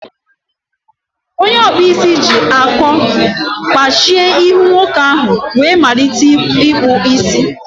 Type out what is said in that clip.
Onye akpụ isi ji akọ kpachie ihu nwoke ahụ wee malite akpụ isi.